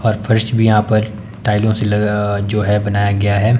और फर्श भी यहां पर टाइलो से लग अ जो है बनाया गया है।